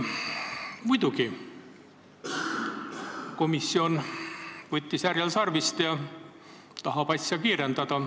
Muidugi, komisjon võttis härjal sarvist ja tahab asja kiirendada.